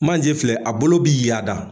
Manje filɛ a bolo bi yaada